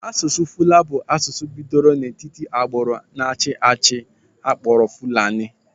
Asụsụ Fula bụ asụsụ bidoro n'etiti agbụrụ na-achị ehi akpọrọ Fulani.